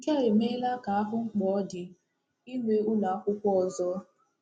Nke a emeela ka ahụ mkpa ọ dị inwe ụlọ akwụkwọ ọzọ.